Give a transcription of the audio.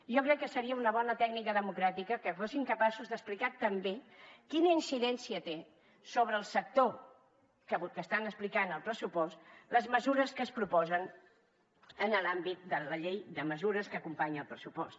jo crec que seria una bona tècnica democràtica que fossin capaços d’explicar també quina incidència tenen sobre el sector que estan explicant al pressupost les mesures que es proposen en l’àmbit de la llei de mesures que acompanya el pressupost